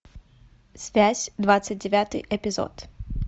связь двадцать девятый эпизод